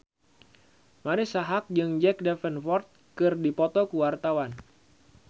Marisa Haque jeung Jack Davenport keur dipoto ku wartawan